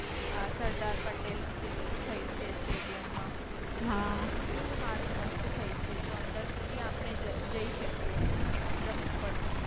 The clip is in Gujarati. આ સરદાર પટેલ નું જે થયું છે સ્ટેડિયમ stadium માં. એવુ કેવુ હારુ મસ્ત થયુ છે જો અંદર સુધી આપણે જઈ શકીએ. એક દમ ઉપર સુધી.